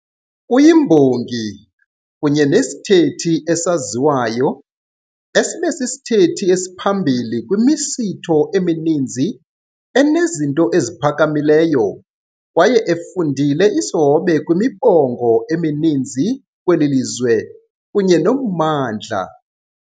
Uyimbongi kunye nesithethi esaziwayo esibe sisithethi esiphambili kwimisitho emininzi enezinto eziphakamileyo kwaye efundile isihobe kwimibongo emininzi kweli lizwe kunye noMmandla.